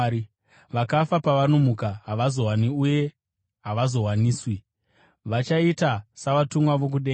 Vakafa pavanomuka, havazowani uye havazowaniswi; vachaita savatumwa vokudenga.